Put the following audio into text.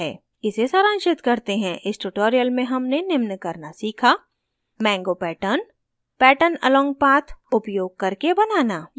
इसे सारांशित करते हैं इस tutorial में हमने निम्न करना सीखा